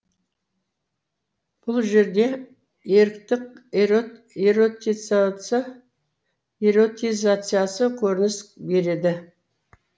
бұл жерде еріктік эротизициясы көрініс береді